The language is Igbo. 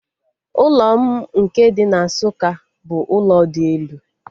Ụlọ m nke dị na Nsukka bụ ụlọ dị elu